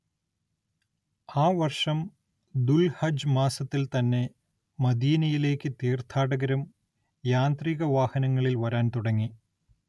ആ വർഷം ദുൽഹജ്ജ് മാസത്തിൽ തന്നെ മദീനയിലേക്ക് തീർത്ഥാടകരും യാന്ത്രിക വാഹനങ്ങളിൽ വരാൻ തുടങ്ങി.